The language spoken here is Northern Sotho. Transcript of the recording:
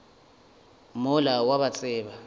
mola o a ba tseba